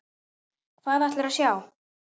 Hvað ætlarðu að sjá?